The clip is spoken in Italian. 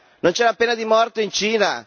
Non c'è la pena di morte in Cina?